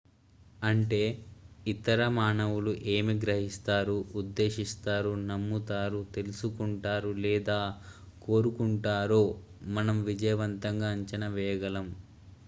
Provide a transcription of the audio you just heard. అంటే ఇతర మానవులు ఏమి గ్రహిస్తారు ఉద్దేశిస్తారు నమ్ముతారు తెలుసుకుంటారు లేదా కోరుకుంటారో మనం విజయవంతంగా అంచనా వేయగలం